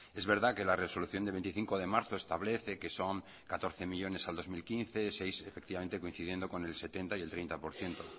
es verdad que la resolución del veinticinco de marzo establece que son catorce millónes al dos mil quince efectivamente coincidiendo con el setenta y el treinta por ciento